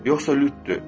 yoxsa lütdü